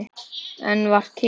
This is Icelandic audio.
Enn var kyrrt.